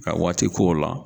Ka waati ko o la.